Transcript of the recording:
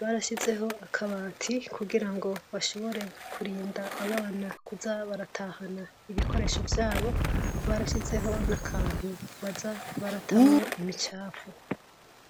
barashizeho , akabati kugirango bashobore kurinda abana kuza baratahana ibikoresho vyabo , barashizeho nakantu baza baratamwo imicafu.